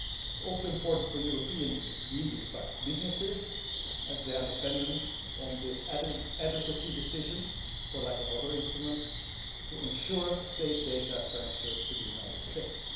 It is also important for European medium sized businesses, as they are dependent on this adequacy decision for lack of other instruments to ensure safe data transfers to the United States.